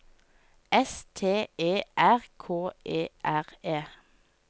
S T E R K E R E